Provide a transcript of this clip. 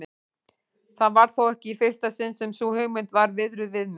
Það var þó ekki í fyrsta sinn sem sú hugmynd var viðruð við mig.